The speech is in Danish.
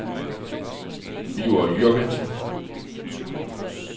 Birger Jürgensen